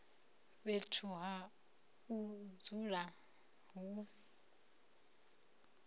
fhethu ha u dzula hu